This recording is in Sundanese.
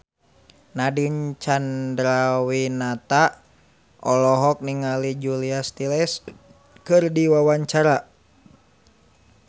Nadine Chandrawinata olohok ningali Julia Stiles keur diwawancara